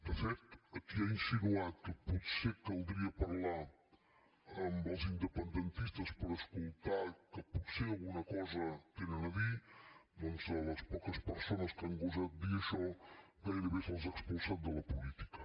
de fet qui ha insinuat que potser caldria parlar amb els independentistes per escoltar que potser alguna cosa tenen a dir doncs les poques persones que han gosat dir això gairebé se’ls ha expulsat de la política